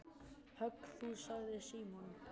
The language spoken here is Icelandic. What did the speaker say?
Högg þú sagði Símon.